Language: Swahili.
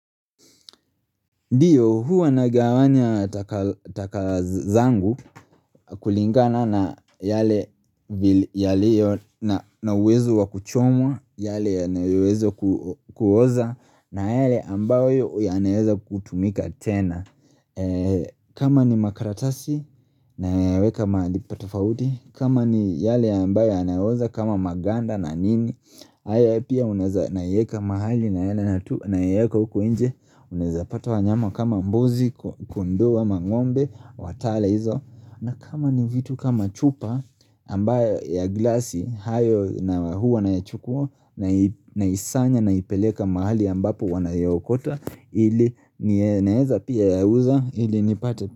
Ndiyo huwa nagawanya taka zangu kulingana na yale yaliyo na uwezo wa kuchomwa, yale yanaweza kuoza, na yale ambayo yanaweza kutumika tena kama ni makaratasi nayaweka mahali pa tofauti kama ni yale ambayo ya naoza kama maganda na nini haya pia unaeza yaweka mahali na yaweka huku nje Unazapata wanyama kama mbuzi, kondoo ama ngombe, watala hizo na kama ni vitu kama chupa ambayo ya glasi hayo na huwa na chukua naisanya naipeleka mahali ambapo wanaokota Ili naweza pia yauza ili nipate.